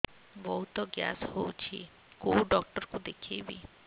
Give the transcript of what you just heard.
ବହୁତ ଗ୍ୟାସ ହଉଛି କୋଉ ଡକ୍ଟର କୁ ଦେଖେଇବି